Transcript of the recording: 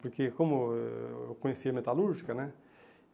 Porque como eh eu conhecia a metalúrgica, né?